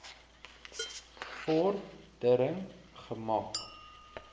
vor dering gemaak